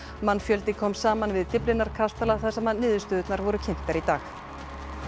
mannfjöldi kom saman við Dyflinnar kastala þar sem niðurstöðurnar voru kynntar í dag